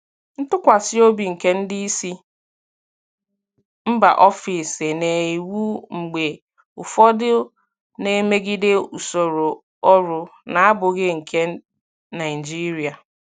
Ntụkwasị obi nke ndị isi mba ofesi na iwu mgbe ụfọdụ na-emegide usoro ọrụ na-abụghị nke Naijiria.